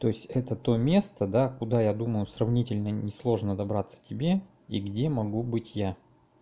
то есть это то место да куда я думаю сравнительно несложно добраться тебе и где могу быть я